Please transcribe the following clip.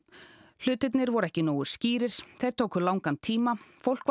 hlutirnir voru ekki nógu skýrir tóku langan tíma fólk var